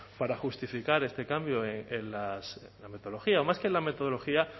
para justificar este cambio en la metodología o más que en la metodología